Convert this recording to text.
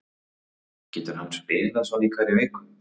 Getur hann spilað svona í hverri viku?